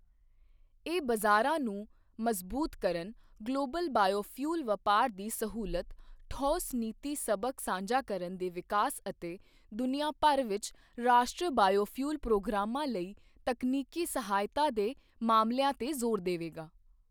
ਇਹ ਬਜ਼ਾਰਾਂ ਨੂੰ ਮਜ਼ਬੂਤ ਕਰਨ, ਗਲੋਬਲ ਬਾਇਓਫਿਊਲ ਵਪਾਰ ਦੀ ਸਹੂਲਤ, ਠੋਸ ਨੀਤੀ ਸਬਕ ਸਾਂਝਾ ਕਰਨ ਦੇ ਵਿਕਾਸ ਅਤੇ ਦੁਨੀਆ ਭਰ ਵਿੱਚ ਰਾਸ਼ਟਰੀ ਬਾਇਓਫਿਊਲ ਪ੍ਰੋਗਰਾਮਾਂ ਲਈ ਤਕਨੀਕੀ ਸਹਾਇਤਾ ਦੇ ਮਾਮਲਿਆਂ ਤੇ ਜ਼ੋਰ ਦੇਵੇਗਾ।